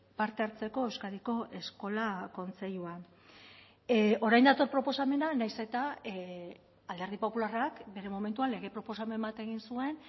parte hartzeko euskadiko eskola kontseiluan orain dator proposamena nahiz eta alderdi popularrak bere momentuan lege proposamen bat egin zuen